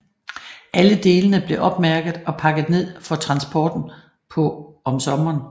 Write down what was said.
Alle delene blev opmærket og pakket ned for transporten på om sommeren